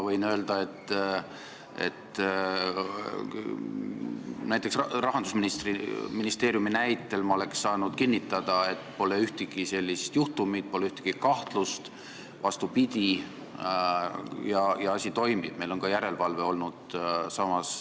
Mina oleksin Rahandusministeeriumi näitel saanud kinnitada, et seal pole ühtegi sellist juhtumit, pole ühtegi sellist kahtlust, vastupidi, ja asi toimib ning on ka järelevalve.